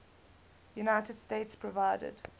united states provided